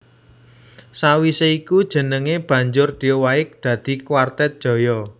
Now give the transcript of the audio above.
Sawisé iku jenengé banjur diowahi dadi Kwartet Jaya